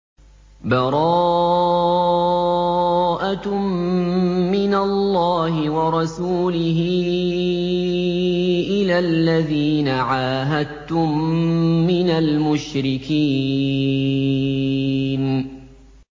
بَرَاءَةٌ مِّنَ اللَّهِ وَرَسُولِهِ إِلَى الَّذِينَ عَاهَدتُّم مِّنَ الْمُشْرِكِينَ